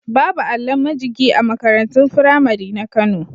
Babu allon majigi a makarantun firamari na Kano.